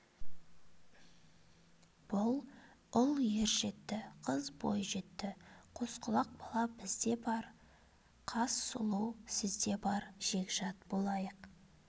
бұл ұл ержетті қыз бойжетті қосқұлақ бала бізде де бар қас сұлу сізде бар жекжат болайық